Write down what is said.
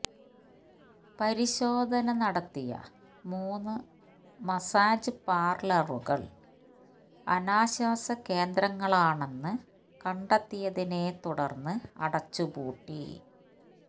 പരിശോധന നടത്തിയ മൂന്ന് മസാജ് പാർലറുകൾ അനാശാസ്യകേന്ദ്രങ്ങളാണെന്ന് കണ്ടെത്തിയതിനെ തുടർന്ന് അടച്ചുപൂട്ടി